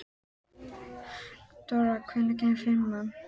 Theodóra, hvenær kemur fimman?